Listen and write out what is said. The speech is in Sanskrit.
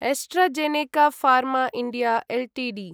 AstraZeneca pharma India Ltd